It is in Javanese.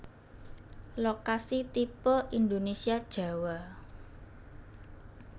Lokasi tipe Indonesia Jawa